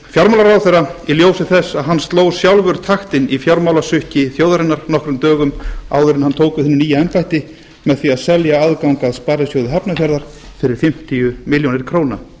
fjármálaráðherra í ljósi þess að hann sló sjálfur taktinn í fjármálasukki þjóðarinnar nokkrum dögum áður en hann tók við hinu nýja embætti með því að selja aðgang að sparisjóði hafnarfjarðar fyrir fimmtíu milljónir króna góðir